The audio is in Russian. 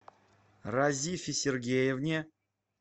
разифе сергеевне